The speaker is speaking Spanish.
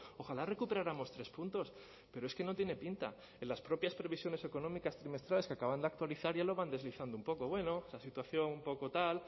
ojalá recuperáramos tres puntos pero es que no tiene pinta en las propias previsiones económicas trimestrales que acaban de actualizar ya lo van deslizando un poco bueno la situación un poco tal